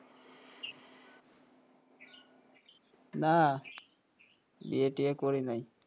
না বিয়ে টিয়ে করি নাই,